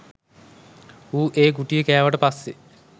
ඌ ඒ ගුටිය කෑවට පස්සේ.